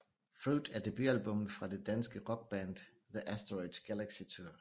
Fruit er debutalbummet fra det danske rockband The Asteroids Galaxy Tour